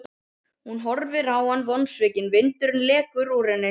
Hún horfir á hann vonsvikin, vindurinn lekur úr henni.